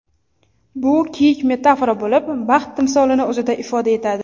Bu kiyik metafora bo‘lib, baxt timsolini o‘zida ifoda etadi.